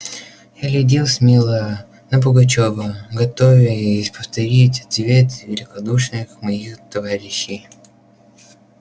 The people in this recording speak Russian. я глядел смело на пугачёва готовя повторить ответ великодушных моих товарищей